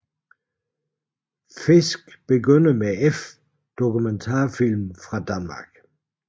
Fisk begynder med f Dokumentarfilm fra Danmark